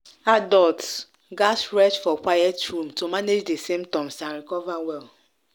adults gatz rest for quiet room to manage di symptoms and recover well.